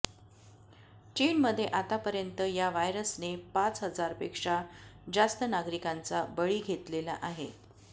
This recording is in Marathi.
चीनमध्ये आतापर्यंत या व्हायरसने पाच हजारपेक्षा जास्त नागरिकांचा बळी घेतलेला आहे